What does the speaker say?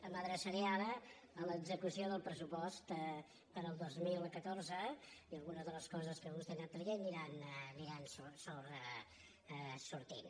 m’adreçaré ara a l’execució del pressupost per al dos mil catorze i alguna de les coses que vostè ha anat traient aniran sortint